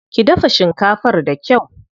Ki dafa shinkafar da kyau.